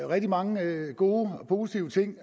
rigtig mange gode og positive ting